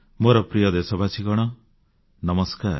ମୋର ପ୍ରିୟ ଦେଶବାସୀଗଣ ନମସ୍କାର